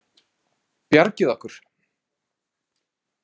Bjargið okkur!